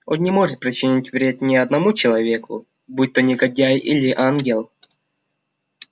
он не может причинить вред ни одному человеку будь то негодяй или ангел